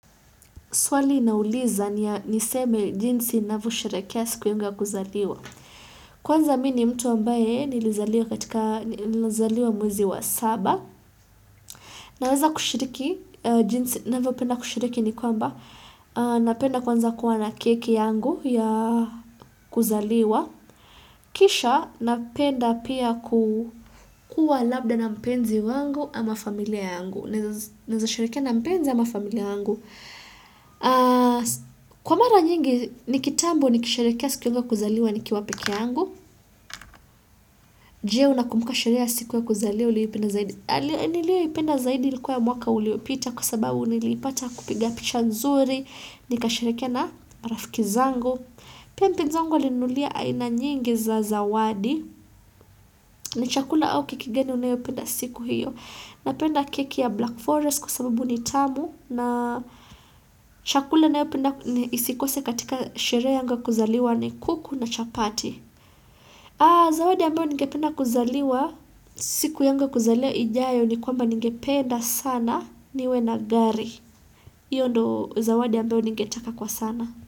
Swali inauliza niseme jinsi ninavyosherehekea siku yangu ya kuzaliwa. Kwanza mimi ni mtu ambaye nilizaliwa mwezi wa saba. Naweza kushiriki jinsi navyopenda kushiriki ni kwamba. Napenda kwanza kuwa na keki yangu ya kuzaliwa. Kisha napenda pia kuwa labda na mpenzi wangu ama familia yangu. Naweza sherekea na mpenzi ama familia yangu. Kwa mara nyingi ni kitambo ni kisherehekea siku yangu wa kuzaliwa nikiwa pekeyangu Jee unakumbuka sherehe ya siku ya kuzaliwa uliopenda zaidi nilio ipenda zaidi likuwa ya mwaka uliopita kwa sababu nilipata kupiga pichanzuri Nikasherehekea na rafiki zangu pia mpenzi wangu alininunulia aina nyingi za zawadi ni chakula au keki ngani unayopenda siku hiyo Napenda keki ya black forest kwa sababu ni tamu na shakula ninayopenda isikose katika sherehe yangu ya kuzaliwa ni kuku na chapati Zawadi ambayo ningependa kuzaliwa siku yangu ya kuzaliwa ijayo ni kwamba ningependa sana niwe na gari Iyo ndo zawadi ambayo ningetaka kwa sana.